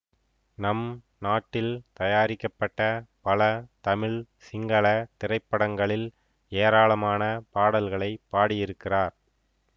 நம் நாட்டில் தயாரிக்கப்பட்ட பல தமிழ் சிங்கள திரைப்படங்களில் ஏராளமான பாடல்களை பாடியிருக்கிறார்